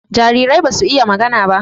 Jarirai basu iya magana ba.